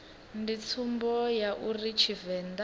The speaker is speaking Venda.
ndi tsumbo ya uri tshivenḓa